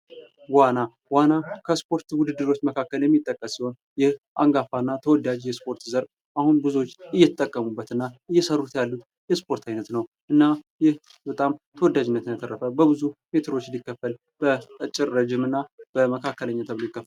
ዋና:- ዋና ከስፖርት ዉድድሮች መካከል የሚጠቀስ ሲሆን አንጋፋና ተወዳጅ የስፖርት ዘርፍ አሁን ብዙዎች እየተጠቀሙበት እና እየሰሩት ያሉት የስፖርት አይነት ነዉ። እና ይህ ተወዳጅነትን ያተረፈ በብዙ ሜትሮች ሊከፈል በአጭር፣ ረዥም እና መካከለኛ ተብሎ ይከፈላል።